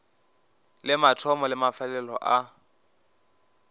le mathomo le mafelelo a